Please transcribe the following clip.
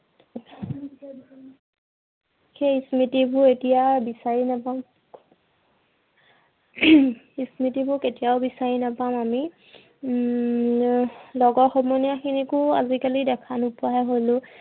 সেই স্মৃতিবোৰ এতিয়া বিচাৰি নাপাও। স্মৃতিবোৰ কেতিয়াও বিচাৰি নাপাও আমি। উম এৰ লগৰ সমনীয়া খিনিকো আজি কালি দেখা নোপোৱা হলো।